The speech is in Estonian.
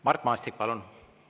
Mart Maastik, palun!